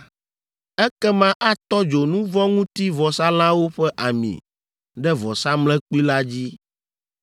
Ekema atɔ dzo nu vɔ̃ ŋuti vɔsalãwo ƒe ami ɖe vɔsamlekpui la dzi.